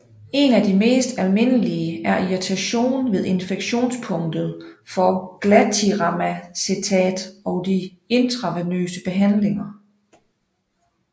En af de mest almindelige er irritation ved injektionspunktet for glatiramacetat og de intravenøse behandlinger